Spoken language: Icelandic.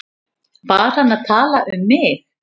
Var hann að tala um mig?